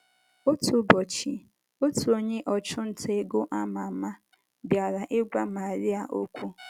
Otu ụbọchị, otu onye ọchụ nta ego ámá ámá bịara ịgwa Maria okwu.